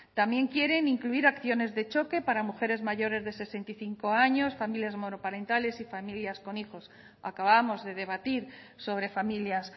también quieren incluir acciones de choque para mujeres mayores de sesenta y cinco años familias monoparentales y familias con hijos acabamos de debatir sobre familias